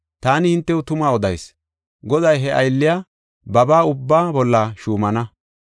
Taani hintew tuma odayis; goday he aylliya babaa ubbaa bolla shuumana.